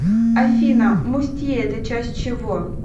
афина мустье это часть чего